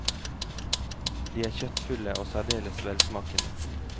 De er kjøttfulle og særdeles velsmakende.